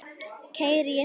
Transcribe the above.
Keyri ég hratt?